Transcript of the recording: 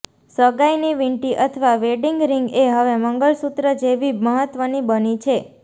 સગાઇની વીંટી અથવા wedding ring એ હવે મંગલસૂત્ર જેવી મહત્વની બની છે